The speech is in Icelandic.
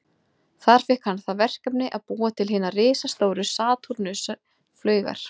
Þar fékk hann það verkefni að búa til hinar risastóru Satúrnus-flaugar.